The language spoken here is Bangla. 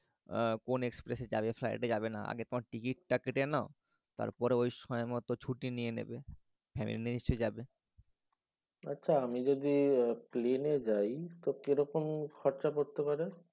আহ কোন express এ যাবে flight এ যাবে না আগে তোমার টিকিট টা কেটে নাও তারপরে ঐ সময়মত ছুটি নিয়ে নেবে। family এসে যাবে। আচ্ছা আমি যদি প্লেনে যাই তো কেরকম খরচা পড়তে পারে?